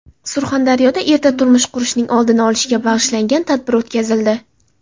Surxondaryoda erta turmush qurishning oldini olishga bag‘ishlangan tadbir o‘tkazildi.